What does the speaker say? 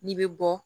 N'i bɛ bɔ